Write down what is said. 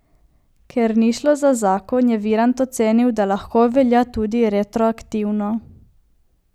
Ker ni šlo za zakon, je Virant ocenil, da lahko velja tudi retroaktivno.